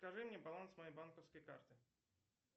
скажи мне баланс моей банковской карты